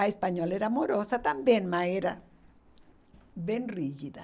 A espanhola era amorosa também, mas era bem rígida.